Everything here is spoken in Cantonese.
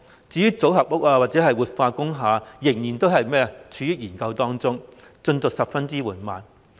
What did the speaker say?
至於組合屋或活化工廈則尚在研究階段，進度十分緩慢。